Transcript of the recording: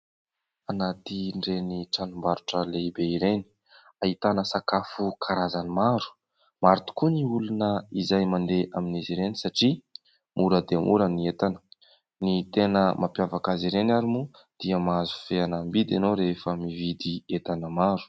Anatiny ireny tranombarotra lehibe ireny ahitana sakafo karazany maro. Maro tokoa ny olona izay mandeha amin'izy ireny satria mora dia mora ny entana. Ny tena mampiavaka azy ireny ary moa dia mahazo fehanam-bidy ianao rehefa mividy entana maro.